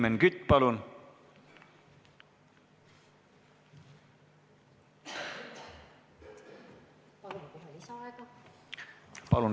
Helmen Kütt, palun!